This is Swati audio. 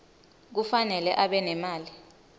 kufanele abe nemali